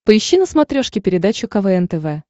поищи на смотрешке передачу квн тв